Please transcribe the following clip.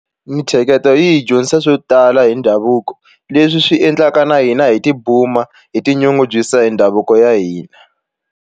Mintsheketo yi hi dyondzisa swo tala hi ndhavuko leswi swi endlaka na hina hi tibuma hi tinyungubyisa hi ndhavuko ya hina.